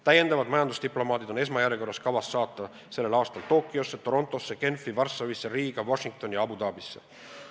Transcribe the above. Täiendavad majandusdiplomaadid on esmajärjekorras kavas saata tänavu Tokyosse, Torontosse, Genfi, Varssavisse, Riiga, Washingtoni ja Abu Dhabisse.